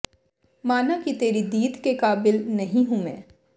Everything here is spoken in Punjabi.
ਮਾਨਾ ਕਿ ਤੇਰੀ ਦੀਦ ਕੇ ਕਾਬਿਲ ਨਹੀਂ ਹੂੰ ਮੈਂ